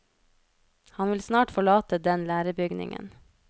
Han vil snart forlate den lærebygningen.